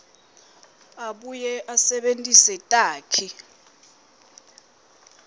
abuye asebentise takhi